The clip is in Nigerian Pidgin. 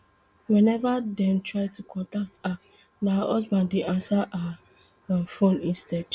whenever dem try to contact her na her husband dey ansa her um phone instead